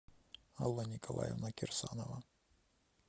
алла николаевна кирсанова